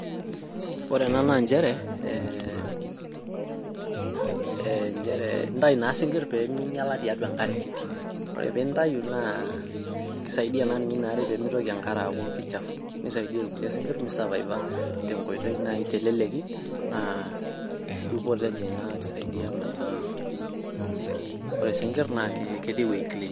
ore ena naa nchere eeh nchere ntau naa sinkir peminyiala tiatua enkare . ore pintayu naa kisaidia naa ninye ina are pemitoki enkare aku kichafu ,nisaida irkulie sinkir misaivaiva tenkoitoi nai teleleki naa dupoto enye ina isaidia metaa ore sinkir ketii ewuei clean.